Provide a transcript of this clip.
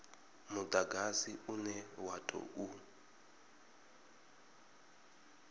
mudagasi une wa u tou